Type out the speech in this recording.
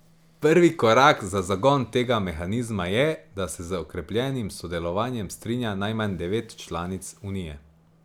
Prvi korak za zagon tega mehanizma je, da se z okrepljenim sodelovanjem strinja najmanj devet članic unije.